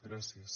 gràcies